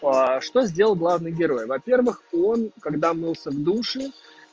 а что сделал главный герой во-первых он когда мылся в душе